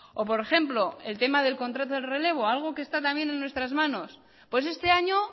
o por ejemplo el tema del contrato de relevo algo que está también en nuestras manos pues este año